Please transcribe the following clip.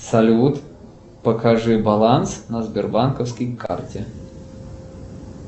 салют покажи баланс на сбербанковской карте